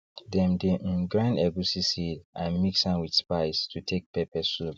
dem dey um grind egusi seed and mix am with spice to take pepper soup